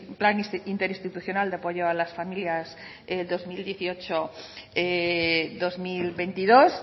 plan interinstitucional de apoyo a las familias dos mil dieciocho dos mil veintidós